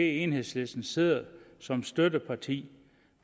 enhedslisten sidder som støtteparti